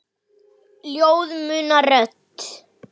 Ljóð muna rödd.